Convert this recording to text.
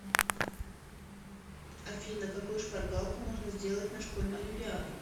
афина какую шпаргалку можно сделать на школьную олимпиаду